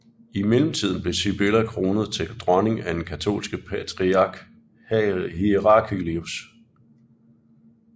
I mellemtiden blev Sibylla kronet til dronning af den katolske patriark Heraclius